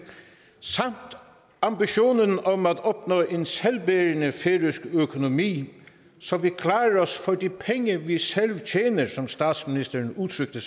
samt ambitionen om at opnå en selvbærende færøsk økonomi så vi klarer os for de penge vi selv tjener som statsministeren udtrykte